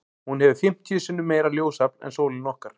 Hún hefur fimmtíu sinnum meira ljósafl en sólin okkar.